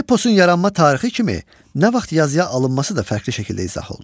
Eposun yaranma tarixi kimi nə vaxt yazıya alınması da fərqli şəkildə izah olunur.